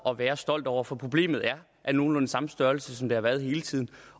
at være stolt over for problemet er af nogenlunde samme størrelse som det har været hele tiden